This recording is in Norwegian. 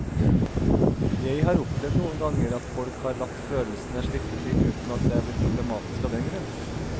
Jeg har opplevd noen ganger at folk har latt følelsene slippe til uten at det er blitt problematisk av den grunn.